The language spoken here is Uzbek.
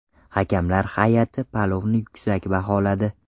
Hakamlar hay’ati palovni yuksak baholadi.